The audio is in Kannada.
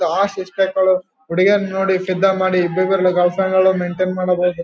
ಸಿಕ್ಸ್ ಪ್ಯಾಕ್ ಹುಡುಗೀರನ್ನ ನೋಡಿ ಫಿದಾ ಮಾಡಿ ಇಬ್ರಿಬ್ರ ಗರ್ಲ್ಫ್ರೆಂಡ್ ನ ಮೈನ್ಟೈನ್ ಮಾಡೋದು--